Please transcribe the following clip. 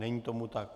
Není tomu tak.